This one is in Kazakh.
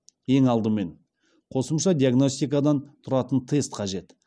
ең алдымен қосымша диагностикадан тұратын тест қажет